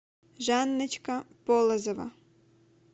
жанночка полозова